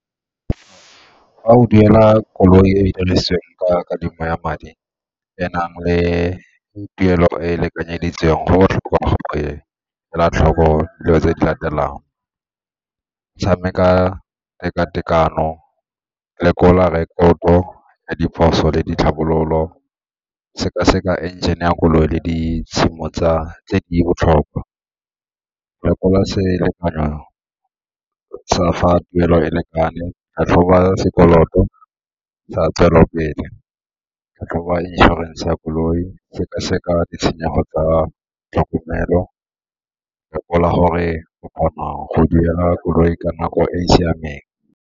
Fa o duela koloi e e ka kadimo ya madi e nang le tuelo e e lekanyeditsweng go botlhokwa ela tlhoko dilo tse di latelang, tshameka teka-tekano, lekola record-to ya diphoso le ditlhabololo, seka-seka engine-e ya koloi le tse di botlhokwa. Lekola selekanyo sa fa tuelo e lekane, tlhatlhoba sekoloto sa tswelelopele, tlhatlhoba inšorense ya koloi, seka-seka ditshenyego tsa tlhokomelo, lekola gore o kgona go duela koloi ka nako e e siameng.